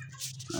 Sanunɛgɛnin